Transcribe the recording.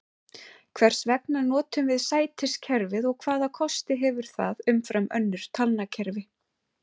Hvers vegna notum við sætiskerfi og hvaða kosti hefur það umfram önnur talnakerfi?